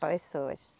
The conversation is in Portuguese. Pessoas.